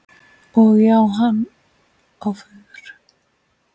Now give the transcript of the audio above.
Og já, hann á föður.